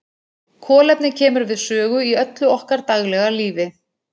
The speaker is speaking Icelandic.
Kolefni kemur við sögu í öllu okkar daglega lífi.